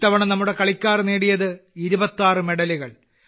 ഇത്തവണ നമ്മുടെ കളിക്കാർ നേടിയത് 26 മെഡലുകൾ